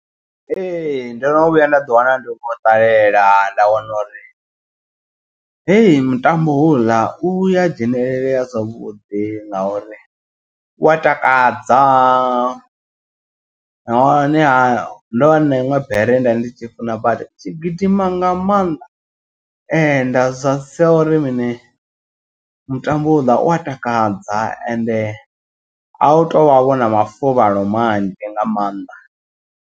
Ee ndo no vhuya nda ḓiwana ndi khou ṱalela nda wana uri heyi mutambo houḽa u ya dzhenelele ya zwavhuḓi. Nga uri u wa takadza nahone ha ndo vha ndi na iṅwe bere ye nda ndi tshi funa badi. I tshi gidima nga maanḓa nda sia uri mini mutambo uḽa u a takadza ende a u to vha vhona mafuvhalo manzhi nga maanḓa.